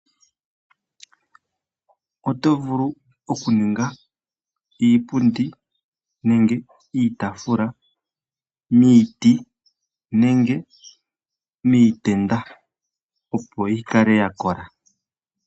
Oto vulu oku ninga iipundi nenge iitaafula miiti, nenge mii tenda opo yi kale ya kola.